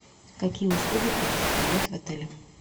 какие услуги предоставляют в отеле